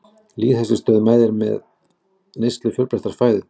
Lýðheilsustöð mælir með neyslu fjölbreyttrar fæðu.